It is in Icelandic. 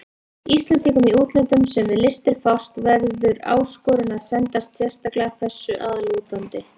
Íslendingum í útlöndum, sem við listir fást, verður áskorun að sendast sérstaklega þessu að lútandi.